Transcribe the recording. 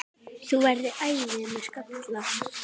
Þú værir æði með skalla!